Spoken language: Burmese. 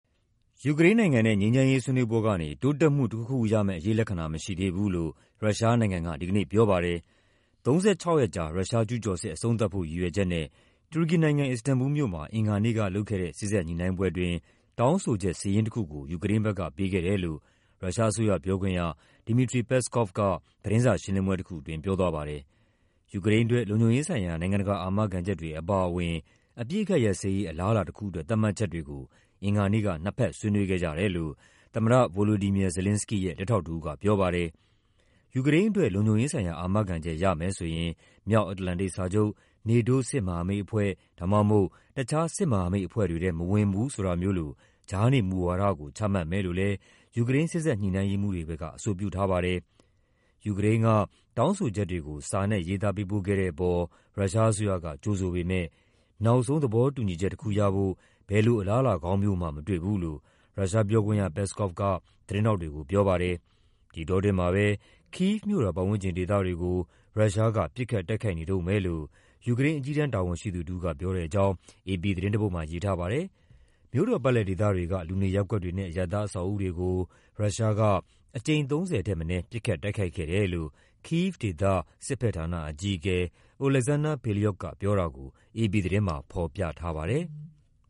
ယူူကရိန်းနိုင်ငံနဲ့ ငြိမ်းချမ်းရေး ဆွေးနွေးပွဲကနေ တိုးတက်မှုတခုခုရမယ့်အရိပ်လက္ခဏာ မရှိသေးဘူးလို့ ရုရှားနိုင်ငံက ဒီကနေ့ ပြောပါတယ်။ ၃၆ ရက်ကြာ ရုရှားကျူးကျော်စစ် အဆုံးသတ်ဖို့ ရည်ရွယ်ချက်နဲ့ တူရကီနိုင်ငံ၊ အစ္စတန်ဘူလ်မြို့မှာ အင်္ဂါနေ့ကလုပ်ခဲ့တဲ့ စေ့စပ် ညှိနှိုင်းပွဲအတွင်း တောင်းဆိုချက် စာရင်းတခုကို ယူကရိန်းဘက်က ပေးခဲ့တယ်လို့ ရုရှားအစိုးရပြောခွင့်ရ Dmitry Peskov က သတင်းစာရှင်းလင်းပွဲတခုအတွင်း ပြောသွားပါတယ်။ ယူကရိန်းအတွက် လုံခြုံရေးဆိုင်ရာ နိုင်ငံတကာ အာမခံချက်တွေအပါအဝင် အပစ်အခတ်ရပ်စဲရေး အလားအလာတခုအတွက် သတ်မှတ်ချက်တွေကို အင်္ဂါနေ့က နှစ်ဘက်ဆွေးနွေးခဲ့ကြတယ်လို့ သမ္မတ Volodymyr Zelenskyy ရဲ့ လက်ထောက်တဦးက ပြောပါတယ်။ ယူကရိန်းအတွက် လုံခြုံရေးဆိုင်ရာ အာမခံချက်ရမယ်ဆိုရင် မြောက်အတ္တလန်တိတ်စာချုပ် NATO စစ်မဟာမိတ်အဖွဲ့ ဒါမှမဟုတ် တခြား စစ်မဟာမိတ်အဖွဲ့တွေထဲ မဝင်ဘူးဆိုတာမျိုးလို ကြားနေ မူဝါဒကို ချမှတ်မယ်လို့လည်း ယူကရိန်း စေ့စပ်ညှိနှိုင်းရေးမှူးတွေ ဘက်က အဆိုပြုထားပါတယ်။ ယူကရိန်းက တောင်းဆိုချက်တွေကို စာနဲ့ရေးသား ပေးပို့ခဲ့တဲ့အပေါ် ရုရှားအစိုးရက ကြိုဆိုပေမယ့် နောက်ဆုံးသဘောတူညီချက် တခုရဖို့ ဘယ်လို အလားအလာကောင်းမျိုးမှ မတွေ့ဘူးလို့ ရုရှားပြောခွင့်ရ Peskov က သတင်းထောက်တွေကိုပြောပါတယ်။ ဒီအတောအတွင်းမှာပဲ ကိဗ်မြို့တော် ပတ်ဝန်းကျင်ဒေသတွေကို ရုရှားက ပစ်ခတ် တိုက်ခိုက်နေတုံးပဲလို့ ယူကရိန်း အကြီးတန်း တာဝန်ရှိသူတဦးက ပြောတဲ့အကြောင်း အေပီသတင်းတပုဒ်မှာ ရေးထားပါတယ်။ မြို့တော်ပတ်လည် ဒေသတွေက လူနေရပ်ကွက်တွေနဲ့ အရပ်သားအဆောက်အဦးတွေကို ရုရှားက အကြိမ် ၃၀ ထက်မနည်း ပစ်ခတ်တိုက်ခိုက်ခဲ့တယ်လို့ ကိဗ်ဒေသ စစ်ဘက်ဌာန အကြီးအကဲ Oleksandr Payliuk ကပြောတာကို အေပီသတင်းမှာ ဖော်ပြ ထားပါတယ်။